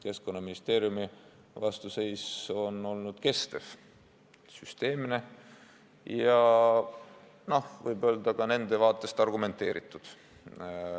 Keskkonnaministeeriumi vastuseis on olnud kestev, süsteemne ja võib öelda, et nende vaatest ka argumenteeritud.